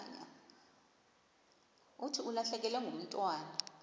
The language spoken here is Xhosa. thi ulahlekelwe ngumntwana